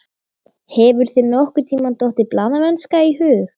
Hefur þér nokkurntíma dottið blaðamennska í hug?